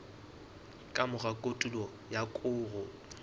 ka mora kotulo ya koro